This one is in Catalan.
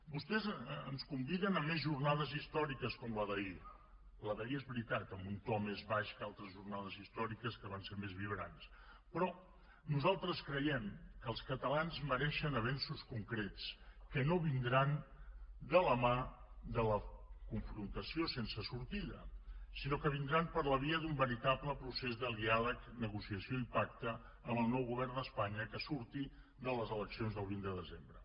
vostès ens conviden a més jornades històriques com la d’ahir la d’ahir és veritat amb un to més baix que altres jornades històriques que van ser més vibrants però nosaltres creiem que els catalans mereixen avenços concrets que no vindran de la mà de la confrontació sense sortida sinó que vindran per la via d’un veritable procés de diàleg negociació i pacte amb el nou govern d’espanya que surti de les eleccions del vint de desembre